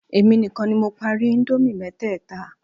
Èmi nìkan ni mo parí íńdómì mẹ́tẹ̀ẹ̀ta.